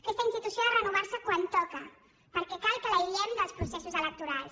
aquesta institució ha de renovarse quan toca perquè cal que l’aïllem dels processos electorals